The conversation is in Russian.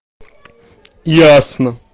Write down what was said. ясно